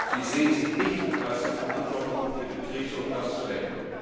Sie sehen sich nicht als die Verantwortlichen für die Krise, und das zu Recht!